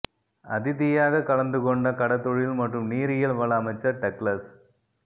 அதிதியாக கலந்து கொண்ட கடற்தொழில் மற்றும் நீரியல் வள அமைச்சர் டக்ளஸ்